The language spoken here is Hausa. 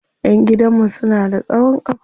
Ƴan gidan mu suna da tsawon kafa.